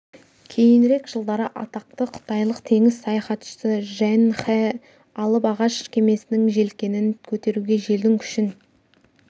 кейінірек жылдары атақты қытайлық теңіз саяхатшысы джен хэ алып ағаш кемесінің желкенін көтеруге желдің күшін